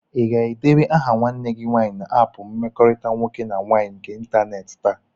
Ị ga-edebanye aha nwanne gị nwaanyị na áápù mkpakọrịta nwoke na nwaanyị nke ịntanetị taa?